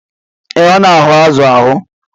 Ee, ọ na-ahu azu ahụ.